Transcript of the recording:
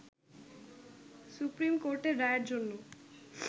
supreme কোর্টের রায়ের জন্য